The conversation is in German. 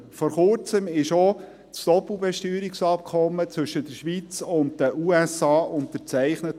Vor kurzem wurde das Doppelbesteuerungsabkommen zwischen der Schweiz und den USA unterzeichnet.